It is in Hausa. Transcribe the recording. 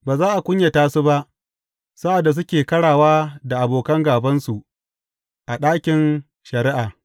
Ba za a kunyata su ba sa’ad da suke ƙarawa da abokan gābansu a ɗakin shari’a.